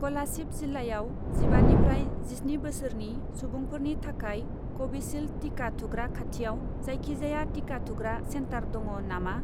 क'लासिब जिल्लायाव जिबानिफ्राइ जिस्नि बोसोरनि सुबुंफोरनि थाखाय कभिसिल्द टिका थुग्रा खाथिआव जायखिजाया टिका थुग्रा सेन्टार दङ नामा?